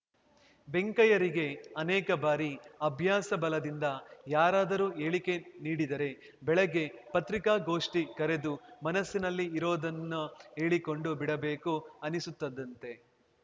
ವೆಂಕಯ್ಯರಿಗೆ ಅನೇಕ ಬಾರಿ ಅಭ್ಯಾಸ ಬಲದಿಂದ ಯಾರಾದರೂ ಹೇಳಿಕೆ ನೀಡಿದರೆ ಬೆಳಗ್ಗೆ ಪತ್ರಿಕಾಗೋಷ್ಠಿ ಕರೆದು ಮನಸ್ಸಿನಲ್ಲಿ ಇರೋದನ್ನು ಹೇಳಿಕೊಂಡು ಬಿಡಬೇಕು ಅನ್ನಿಸುತ್ತದಂತೆ